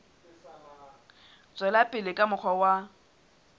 tswela pele ka mokgwa wa